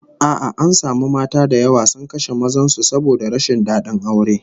A'a, an samu mata da yawa sun kashe mazan su saboda rashin dadin aure